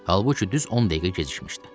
Halbuki düz 10 dəqiqə gecikmişdi.